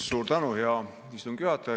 Suur tänu, hea istungi juhataja!